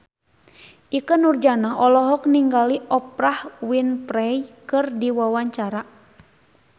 Ikke Nurjanah olohok ningali Oprah Winfrey keur diwawancara